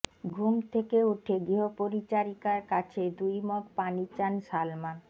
ঘুম থেকে উঠে গৃহপরিচারিকার কাছে দুই মগ পানি চান সালমান